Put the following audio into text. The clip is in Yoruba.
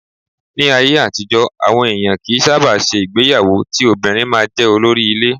Ní ayé àtijọ́, àwọn èèyàn kì í sábà ṣe ìgbéyàwó ti obìnrin máa jẹ́ olórí ilé.